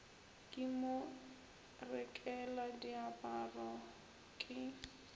ke mo rekela diaparo ke